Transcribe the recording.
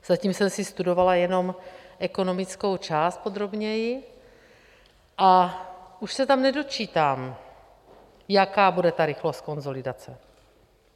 Zatím jsem si studovala jenom ekonomickou část podrobněji a už se tam nedočítám, jaká bude ta rychlost konsolidace.